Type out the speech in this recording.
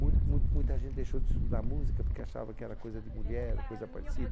Muito muito muita gente deixou de estudar música porque achava que era coisa de mulher, ou coisa parecida.